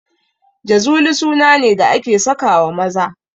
Jazuli suna ne da ake sakawa maza